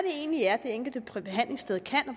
egentlig er det enkelte behandlingssted kan